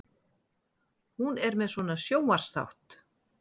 Hún er með svona sjónvarpsþátt.